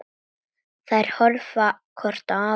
Þær horfa hvor á aðra.